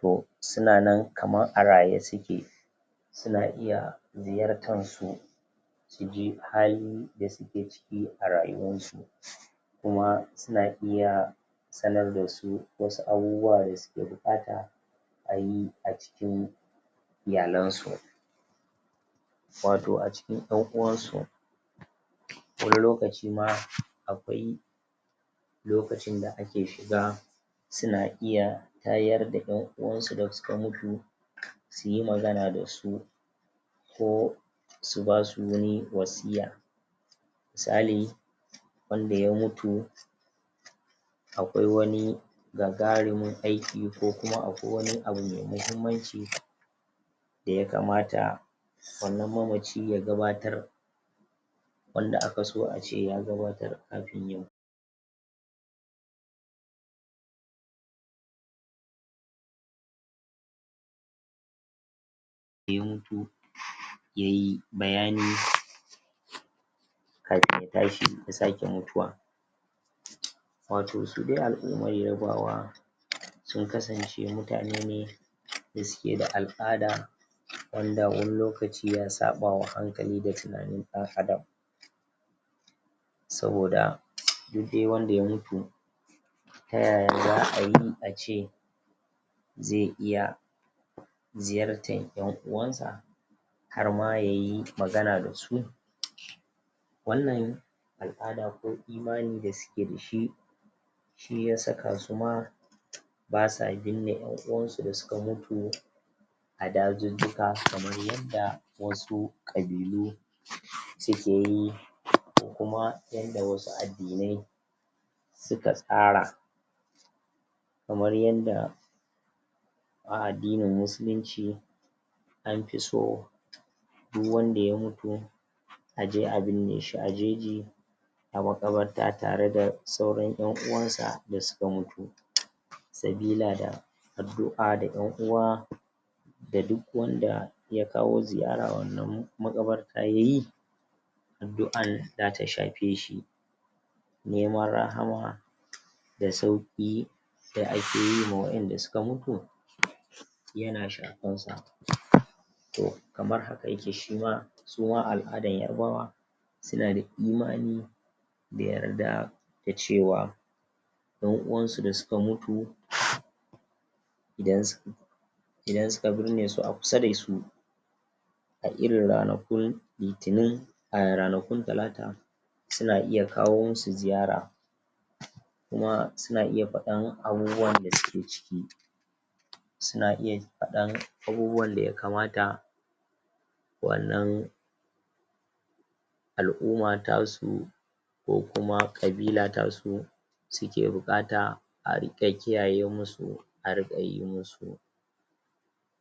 to suna nan kaman a raye suke suna iya ziyartan su suji halinda suke ciki a rayuwan su kuma suna iya sanar dasu wasu abubuwa da suke buƙata ayi a cikin iyalan su wato a cikin 'yan uwansu wani lokaci ma akwai lokacin da ake shiga suna iya tayar da 'yan uwansu da suka mutu su yi magana da su ko su basu wani wasiyya sali wanda ya mutu akwai wani gagarumin aiki ko kuma akwai wani abu mai mahimmanci da ya kamata wannan mamaci ya gabatar wanda akaso ace ya gabatar kafin ya ya mutu yayi bayani kafin ya tashi ya sake mutuwa wato su dai al'umar yarbawa sun kasance mutane ne da suke da al'ada wanda wani lokaci ya saɓawa hankali da tunanin ɗan adam saboda duk dai wanda ya mutu ta yaya za'ayi ace zai iya ziyartan 'yan uwansa harma yayi magana da su wannan al'ada ko imani da suke da shi shi ya saka su ma basa binne 'yan uwansu da suka mutu a dajujjuka kamar yanda wasu ƙabilu suke yi..? kuma yanda wasu addinai suka tsara kamar yanda a addinin musulinci anfi so du wanda ya mutu a je a binne shi a jeji a maƙabarta tare da sauran 'yan uwansa da suka mutu sabila da addu'a da 'yan uwa da duk wanda ya kawo ziyara wannan maƙabarta ya yi addu'an zata shafe shi neman rahama da sauƙi da ake yi ma wa'yanda suka mutu yana shafansa...... to kamar haka yake shima suma al'adan yarbawa suna da imani da yarda da cewa 'yan uwansu da suka mutu... idan ss idan suka birne su a kusa da su a irin ranakun litinin a ranakun talata suna iya kawo musu ziyara kuma suna iya faɗan abubuwan da suke ciki suna iya faɗan abubuwan da ya kamata wannan al'uma tasu ko kuma ƙabila tasu suke buƙata a riƙa kiyaye musu a riƙa yi musu